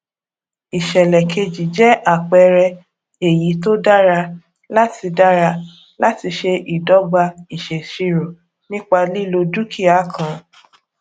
ìsèlè keji jẹ àpẹẹrẹ èyí tó dára láti dára láti ṣe ìdogba ìsèṣirò nípa lílo dúkìá kan